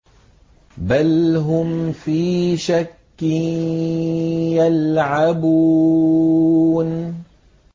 بَلْ هُمْ فِي شَكٍّ يَلْعَبُونَ